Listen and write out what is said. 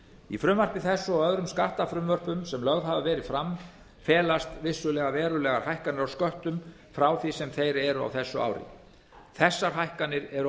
í frumvarpi þessu og öðrum skattafrumvörpum sem lögð hafa verið fram felast vissulega verulegar hækkanir á sköttum frá því sem þeir eru á þessu ári þessar hækkanir eru